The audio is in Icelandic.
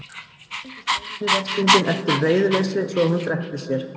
Skildi Steinunni veslinginn eftir í reiðileysi svo að hún drekkti sér.